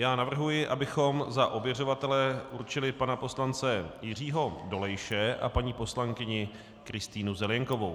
Já navrhuji, abychom za ověřovatele určili pana poslance Jiřího Dolejše a paní poslankyni Kristýnu Zelienkovou.